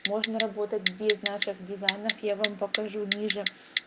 можно работать без наших дизайнов я вам покажу ниже